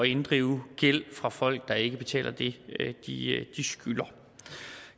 inddrive gæld fra folk der ikke betaler det de skylder